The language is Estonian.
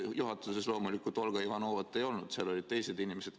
Juhatuses loomulikult Olga Ivanovat ei olnud, seal olid teised inimesed.